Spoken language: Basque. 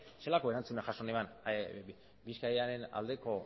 zelako erantzuna jaso neban bizkaiaren